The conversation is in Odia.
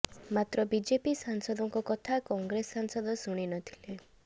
ମାତ୍ର ବିଜେପି ସାଂସଦଙ୍କ କଥା କଂଗ୍ରେସ ସାଂସଦ ଶୁଣି ନଥିଲେ